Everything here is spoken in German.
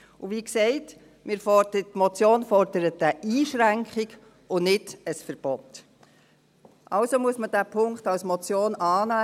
Und wie gesagt: Die Motion fordert eine Einschränkung und nicht ein Verbot, also muss man diesen Punkt als Motion annehmen.